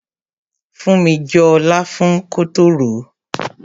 Funmi jọ láfún kótó ròó.